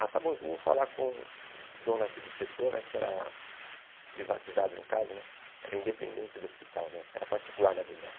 Ah, está bom, então eu vou falar com o dono aqui do setor, né porque era privatizado no caso, né era independente do hospital, né era particular na verdade.